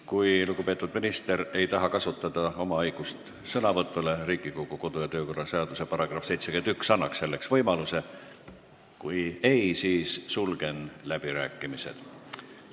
Kui lugupeetud minister ei taha kasutada oma õigust sõnavõtule – Riigikogu kodu- ja töökorra seaduse § 71 annab selle võimaluse –, siis sulgen läbirääkimised.